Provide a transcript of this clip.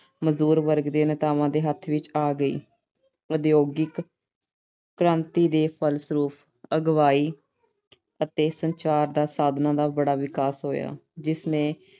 ਮਜ਼ਦੂਰ ਵਰਗ ਦੇ ਨੇਤਾਵਾਂ ਦੇ ਹੱਥ ਵਿੱਚ ਆ ਗਈ। ਉਦਯੋਗਿਕ ਕ੍ਰਾਂਤੀ ਦੇ ਫਲਸਰੂਪ ਆਵਾਜਾਈ ਅਤੇ ਸੰਚਾਰ ਦੇ ਸਾਧਨਾਂ ਦਾ ਬੜਾ ਵਿਕਾਸ ਹੋਇਆ ਜਿਸ ਨੇ